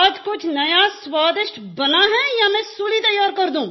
आज कुछ नया स्वादिष्ट बना है या मैं सूली तैयार कर दूँ